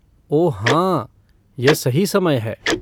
ओह हाँ, यह सही समय है।